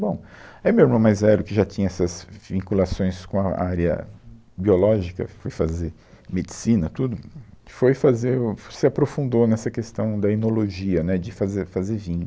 Bom, aí meu irmão mais velho, que já tinha essas vinculações com a, a área biológica, foi fazer medicina, tudo, que foi fazer, o, se aprofundou nessa questão da enologia, né, de fazer, fazer vinho.